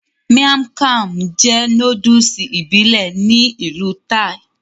Miang kham jẹ́ nóódùsì ìbílẹ̀ ní ìlú Thai